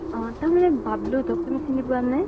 অ । তাৰমানে বাবলো তোক, তুমি চিনি পোৱানে ?